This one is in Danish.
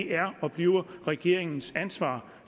er og bliver regeringens ansvar